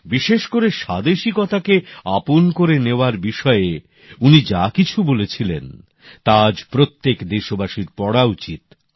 বিশেষ করে স্বাদেশিকতাকে আপন করে নেওয়ার বিষয়ে উনি যা কিছু বলেছিলেন তা আজ প্রত্যেক দেশবাসীর পড়া উচিত